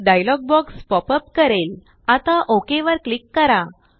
एक dialogue box pop अपकरेलआता okay वरक्लिक करा